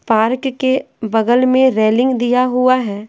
Park के बगल में रेलिंग दिया हुआ है।